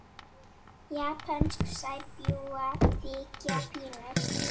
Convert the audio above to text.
Japönsk sæbjúgu þykja fínust.